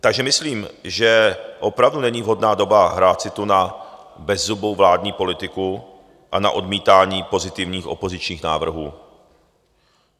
Takže myslím, že opravdu není vhodná doba hrát si tu na bezzubou vládní politiku a na odmítání pozitivních opozičních návrhů.